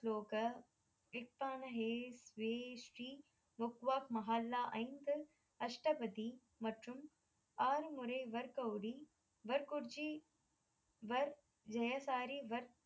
ஸ்லோக ஹே வே ஸ்ரீ முக்வாக் மஹால்லா ஐந்து அஷ்டபதி மற்றும் ஆறு முறை வர் கௌரி வர் குர்ஜி வர் ஜெயசாரி வர்